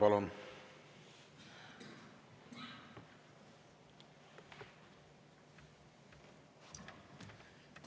Palun!